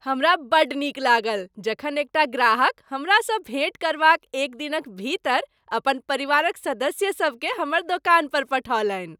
हमरा बड्ड नीक लागल जखन एकटा ग्राहक हमरासँ भेट करबाक एक दिनक भीतर अपन परिवारक सदस्यसभकेँ हमर दोकान पर पठौलनि।